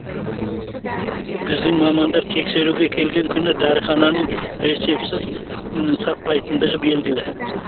біздің мамандар тексеруге келген күні дәріхананың рецептісіз сатпайтындығы белгілі